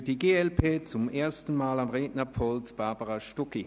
Für die glp zum ersten Mal am Rednerpult: Grossrätin Stucki.